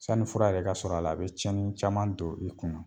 Sanni fura yɛrɛ ka sɔrɔ a la a bɛ tiɲɛni caman don i kunna.